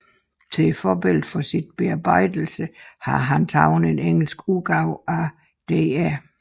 Til forbillede for sin bearbejdelse har han taget en engelsk udgave af dr